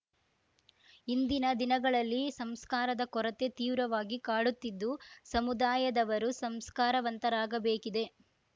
ಇಂದಿನ ದಿನಗಳಲ್ಲಿ ಸಂಸ್ಕಾರದ ಕೊರತೆ ತೀವ್ರವಾಗಿ ಕಾಡುತ್ತಿದ್ದು ಸಮುದಾಯದವರು ಸಂಸ್ಕಾರವಂತರಾಗಬೇಕಿದೆ